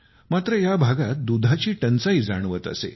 मात्र या भागात दुधाची टंचाई जाणवत असे